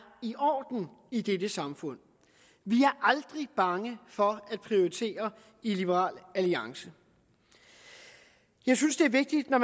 i orden i dette samfund vi er aldrig bange for at prioritere i liberal alliance jeg synes det er vigtigt når